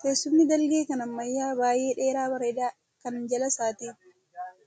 Teessumni dalgee kan ammayyaa baay'ee dheeraa bareedaa kan jala isaatti